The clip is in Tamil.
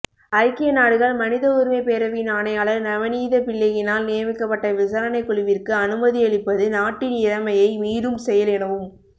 ஐக்கிய நாடுகள் மனித உரிமைப் பேரவையின் ஆணையாளர் நவனீதம்பிள்ளையினால் நியமிக்கப்பட்ட விசாரணைக்குழுவிற்கு அனுமதியளிப்பது நாட்டின் இறைமையை மீறும் செயல் எனவும்